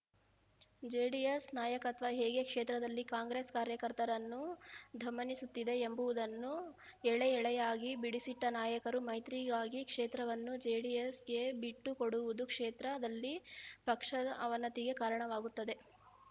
JDS ನಾಯಕತ್ವ ಹೇಗೆ ಕ್ಷೇತ್ರದಲ್ಲಿ ಕಾಂಗ್ರೆಸ್‌ ಕಾರ್ಯಕರ್ತರನ್ನು ದಮನಿಸುತ್ತಿದೆ ಎಂಬುವುದನ್ನು ಎಳೆಎಳೆಯಾಗಿ ಬಿಡಿಸಿಟ್ಟನಾಯಕರು ಮೈತ್ರಿಗಾಗಿ ಕ್ಷೇತ್ರವನ್ನು ಜೆಡಿಎಸ್‌ಗೆ ಬಿಟ್ಟುಕೊಡುವುದು ಕ್ಷೇತ್ರದಲ್ಲಿ ಪಕ್ಷದ ಅವನತಿಗೆ ಕಾರಣವಾಗುತ್ತದೆ